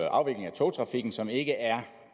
afvikling af togtrafikken som der ikke er